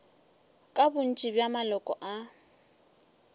ke bontši bja maloko a